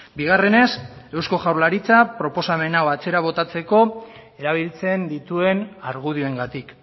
bigarrenez eusko jaurlaritzak proposamen hau atzera botatzeko erabiltzen dituen argudioengatik